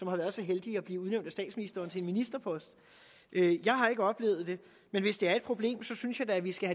har været så heldige at blive udnævnt af statsministeren til en ministerpost jeg har ikke oplevet det men hvis det er et problem synes jeg da at vi skal